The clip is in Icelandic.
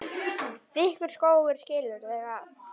Þykkur skógur skilur þau að.